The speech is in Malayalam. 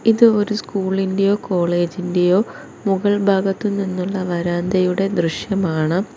ഇത് ഒരു സ്കൂളിൻ്റെയോ കോളേജിന്റെയോ മുകൾഭാഗത്ത് നിന്നുള്ള വരാന്തയുടെ ദൃശ്യമാണ്.